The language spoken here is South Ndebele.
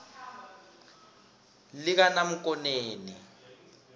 likanamkoneni